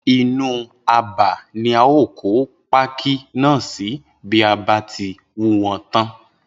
Inú abà ni a óò kó pákí náà si bí a bá ti wú wo̩n tán